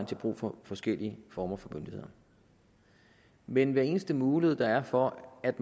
til brug for forskellige former for myndigheder men hver eneste mulighed der er for at